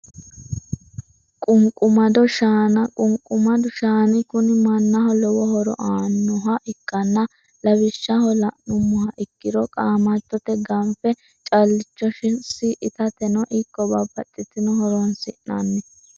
Qunqumado shaana qunqumadu shaani kuni manaho lowo horo aanoha ikanna lawishshaho la`numoha ikiro qaamatote ganffe calichosi itateno ikko babaxitino horonsinani.